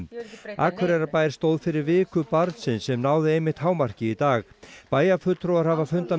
Akureyrarbær stóð fyrir viku barnsins sem náði einmitt hámarki í dag bæjarfulltrúar hafa fundað með